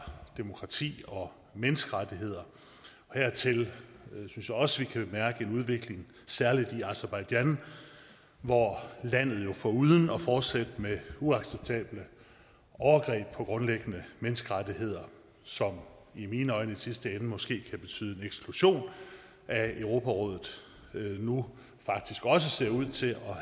demokrati og menneskerettigheder og hertil synes jeg også vi kan mærke en udvikling i særlig aserbajdsjan hvor landet jo foruden at fortsætte med uacceptable overgreb på grundlæggende menneskerettigheder som i mine øjne i sidste ende måske kan betyde en eksklusion af europarådet nu faktisk også ser ud til